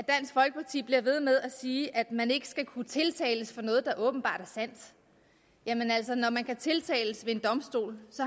jeg ved med at sige at man ikke skal kunne tiltales for noget der er åbenbart sandt jamen altså når man kan tiltales en domstol